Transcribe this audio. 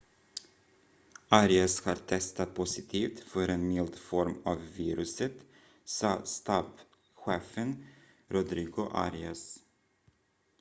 arias har testat positivt för en mild form av viruset sa stabschefen rodrigo arias